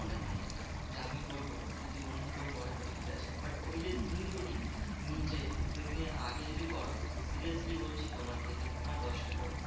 মনে হয় এটা যে আমি করবো? যদি অন্য কেউ করে তো ঠিক আছে। but ওই যে তুমি যদি নিজে উদ্বেগ নিয়ে আগে যদি করো? seriously বলছি তোমার দেখে তোমায় দশটা লোক